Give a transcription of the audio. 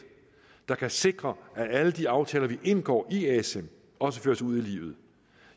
der kan sikre at alle de aftaler vi indgår i asem også føres ud i livet